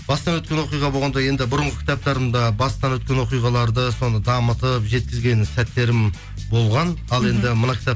бастан өткен оқиға болғанда енді бұрынғы кітаптарымда бастан өткен оқиғаларды соны дамытып жеткізген сәттерім болған ал енді мына кітап